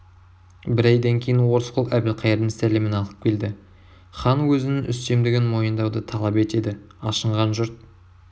бір айдан кейін орысқұл әбілқайырдың сәлемін алып келді хан өзінің үстемдігін мойындауды талап етеді ашынған жұрт